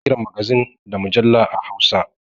Ana kiran magazin da mujalla a hausa